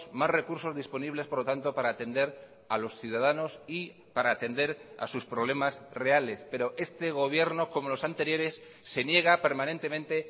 más recursos disponibles por lo tanto para atender a los ciudadanos y para atender a sus problemas reales pero este gobierno como los anteriores se niega permanentemente